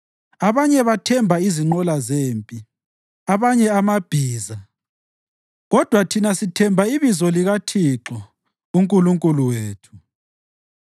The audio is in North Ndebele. Abanye bathemba izinqola zempi, abanye amabhiza, kodwa thina sithemba ibizo likaThixo uNkulunkulu wethu.